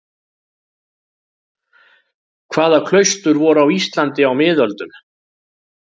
Hvaða klaustur voru á Íslandi á miðöldum?